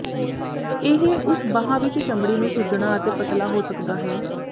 ਇਹ ਉਸ ਬਾਂਹ ਵਿੱਚ ਚਮੜੀ ਨੂੰ ਸੁੱਜਣਾ ਅਤੇ ਪਤਲਾ ਹੋ ਸਕਦਾ ਹੈ